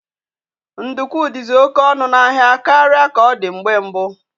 Ndukwu dizi oke ọnụ n'ahia karịa ka ọ dị mgbe mbụ